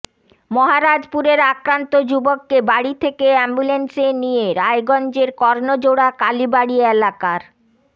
মহারাজপুরের আক্রান্ত যুবককে বাড়ি থেকে অ্যাম্বুল্যান্সে নিয়ে রায়গঞ্জের কর্ণজোড়া কালীবাড়ি এলাকার